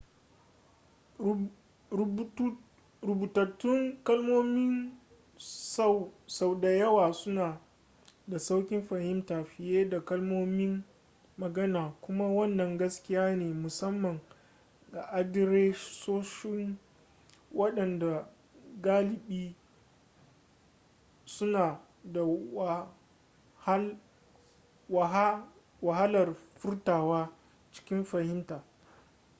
rubutattun kalmomi sau da yawa suna da sauƙin fahimta fiye da kalmomin magana kuma wannan gaskiya ne musamman ga adiresoshin waɗanda galibi suna da wahalar furtawa cikin fahimta